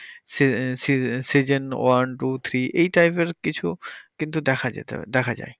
season one two three এই type এর কিছু কিন্তু দেখা যেতে পারে দেখা যায়